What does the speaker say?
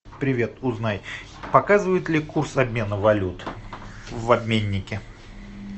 привет узнай показывают ли курс обмена валют в обменнике